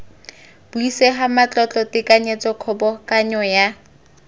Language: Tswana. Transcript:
buisega matlotlo tekanyetso kgobokanyo ya